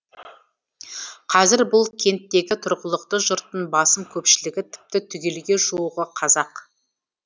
қазір бұл кенттегі тұрғылықты жұрттың басым көпшілігі тіпті түгелге жуығы қазақ